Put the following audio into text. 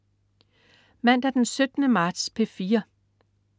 Mandag den 17. marts - P4: